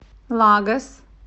лагос